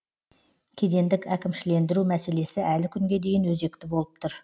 кедендік әкімшілендіру мәселесі әлі күнге дейін өзекті болып тұр